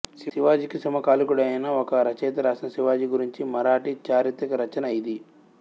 శివాజీకి సమకాలీనుడైన ఒక రచయిత రాసిన శివాజీ గురించిన మరాఠీ చారిత్రక రచన ఇది